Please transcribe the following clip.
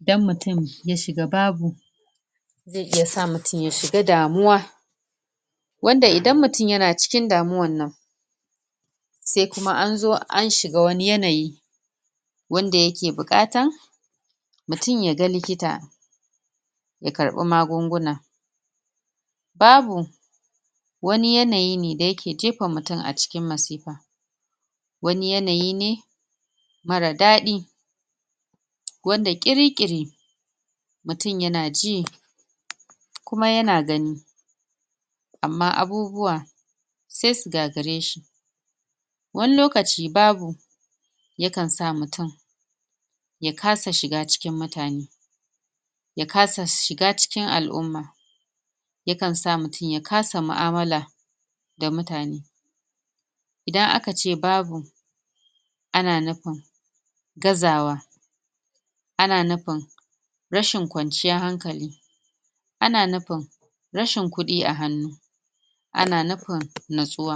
idan mutum ya shiga babu, zai iya sa mutum ya shiga damuwa wanda idan mutum ya na cikin damuwan nan, sai kuma an zo an shiga wani yanayi wanda ya ke buƙatan mutum ya ga likita ya karɓa magun-guna. Babu wani yanayi ne da ya ke jefa mutum a cikin masifa. Wani yanayi ne marar daɗi wanda ƙiri-ƙiri mutum ya na ji kuma ya na gani amma abubuwa sai su gagare shi. Wani lokaci babu yakan sa mutum ya kasa shiga cikin mutane, ya kasa shiga cikin al'umma. Yakan sa mutum ya kasa mu'amala da mutane. Idan aka ce babu ana nufin gazawa. Ana nufin rashin kwanciyar hankali. Ana nufin rashin kuɗi a hannu, ana nufin natsuwa.